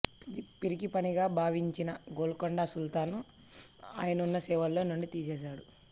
ఇది పిరికిపనిగా భావించిన గోల్కొండ సుల్తాను ఆయన్ను సేవలో నుండి తీసేశాడు